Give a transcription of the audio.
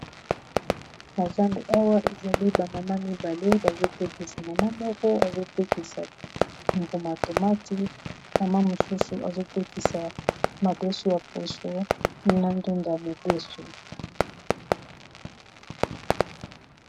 Na zandu awa ezali ba mama mibale bazotekisa mama moko azotekisa mbuma ya tomati mama mosusu azotekisa madeso ya poso na ndunda ya mobeso.